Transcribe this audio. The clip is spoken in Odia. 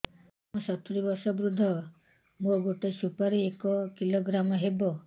ମୁଁ ସତୂରୀ ବର୍ଷ ବୃଦ୍ଧ ମୋ ଗୋଟେ ସୁପାରି ଏକ କିଲୋଗ୍ରାମ ହେବ